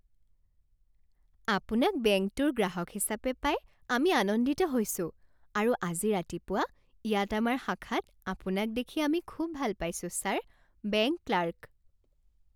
আপোনাক বেংকটোৰ গ্ৰাহক হিচাপে পাই আমি আনন্দিত হৈছোঁ আৰু আজি ৰাতিপুৱা ইয়াত আমাৰ শাখাত আপোনাক দেখি আমি খুব ভাল পাইছোঁ ছাৰ! Bank clerk